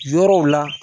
Yɔrɔw la